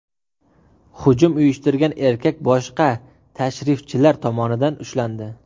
Hujum uyushtirgan erkak boshqa tashrifchilar tomonidan ushlandi.